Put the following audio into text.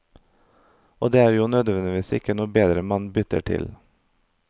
Og det er jo nødvendigvis ikke noe bedre man bytter til.